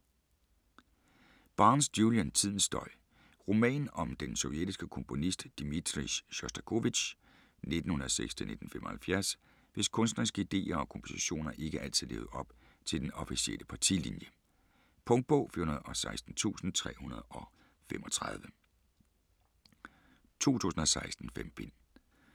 Barnes, Julian: Tidens støj Roman om den sovjetiske komponist, Dmitrij Sjostakovitj (1906-1975), hvis kunstneriske ideer og kompositioner ikke altid levede op til den officielle partilinje. Punktbog 416335 2016. 5 bind.